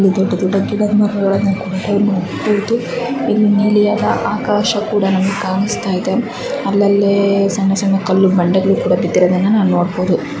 ಇಲ್ಲಿ ದೊಡ್ಡ ದೊಡ್ಡ ಗಿಡ ಮರಗಳನ್ನು ಕೂಡ ನಾವು ನೋಡಬಹುದು ಇಲ್ಲಿ ನೀಲಿಯಾದ ಆಕಾಶ ಕೂಡ ನಮಗೆ ಕಾಣಿಸ್ತಾ ಇದೆ ಅಲ್ಲಲ್ಲಿ ಸಣ್ಣ ಸಣ್ಣ ಕಲ್ಲು ಬಂಡೆಗಳು ಕೂಡ ಬಿದ್ದಿರೋದನ್ನ ನಾನು ನೋಡಬಹುದು.